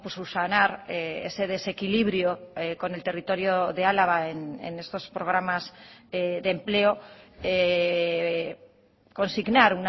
subsanar ese desequilibrio con el territorio de álava en estos programas de empleo consignar